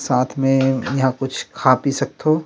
साथ में यहाँ कुछ खा-पी सकथो--